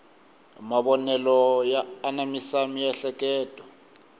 mavonelo ya anamisa miehleketo